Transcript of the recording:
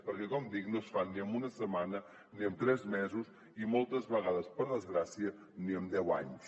perquè com dic no es fan ni en una setmana ni en tres mesos i moltes vegades per desgràcia ni en deu anys